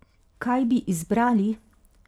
Kaj bi izbrali?